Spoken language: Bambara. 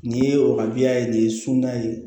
Nin ye wa biya ye nin ye sunda ye